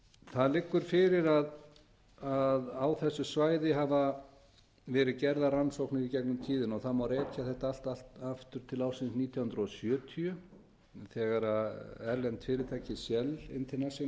það liggur fyrir að á þessu svæði hafa verið gerðar rannsóknir í gegnum tíðina og það má rekja þetta allt aftur til ársins nítján hundruð sjötíu þegar erlent fyrirtæki shell international sem þá